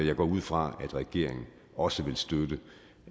jeg ud fra at regeringen også vil støtte